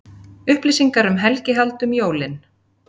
Upplýsingar um helgihald um jólin